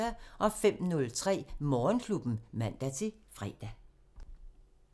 05:03: Morgenklubben (man-fre)